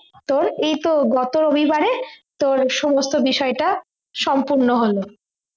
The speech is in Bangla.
তোর এইতো গত রবিবারে তোর সমস্ত বিষয়টা সম্পূর্ণ হলো